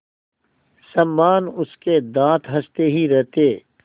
समान उसके दाँत हँसते ही रहते